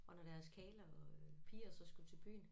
Og når deres karle og øh piger så skulle til bygen